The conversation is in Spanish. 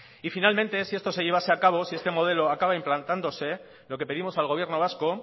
y finalmente si esto se llevase a cabo si este modelo acaba implantándose lo que pedimos al gobierno vasco